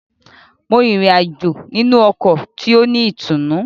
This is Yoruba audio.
Mo rin ìrìn-àjò nínú ọkọ ti o ni ìtùnú.